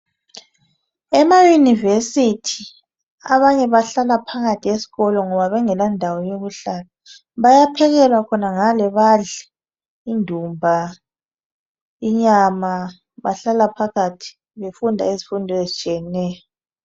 Ema yunivesithi abanye bahlala phakathi esikolo ngoba bengela ndawo yokuhlala, bayaphekelwa khonangale badle indumba, inyama. Bahlala phakathi bafunda izifundo ezitshiyeneyo.